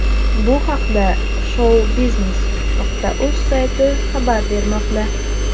Bu haqda shou-biznes.uz sayti xabar bermoqda.